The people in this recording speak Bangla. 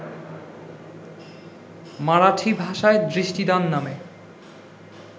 মারাঠি ভাষায় ‘দৃষ্টিদান’ নামে